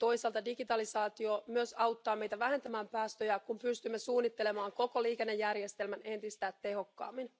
Toisaalta digitaalisaatio myös auttaa meitä vähentämään päästöjä, kun pystymme suunnittelemaan koko liikennejärjestelmän entistä tehokkaammin.